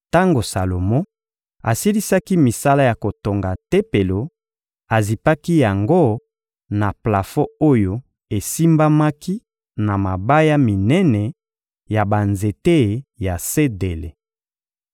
Tango Salomo asilisaki misala ya kotonga Tempelo, azipaki yango na plafon oyo esimbamaki na mabaya minene ya banzete ya sedele.